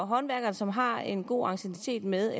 håndværkeren som har en god anciennitet med